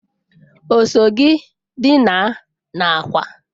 O so gi dina n'akwa?